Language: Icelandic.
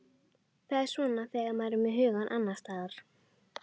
Það er svona þegar maður er með hugann annars staðar.